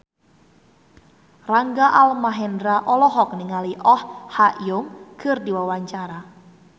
Rangga Almahendra olohok ningali Oh Ha Young keur diwawancara